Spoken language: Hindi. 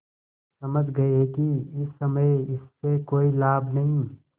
समझ गये कि इस समय इससे कोई लाभ नहीं